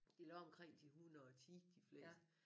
De lå omkring de 110 de fleste